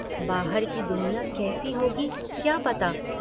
बाहर की दुनिया कैसी होगी क्या पता?